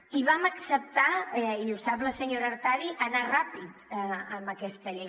i vam acceptar i ho sap la senyora artadi anar ràpid en aquesta llei